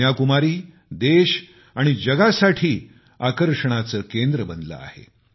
कन्याकुमारी देश आणि जगासाठी आकर्षणाचे केंद्र बनले आहे